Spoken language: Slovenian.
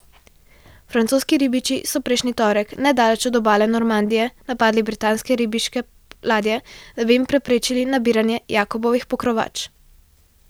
Francoski ribiči so prejšnji torek nedaleč od obale Normandije napadli britanske ribiške ladje, da bi jim preprečili nabiranje jakobovih pokrovač.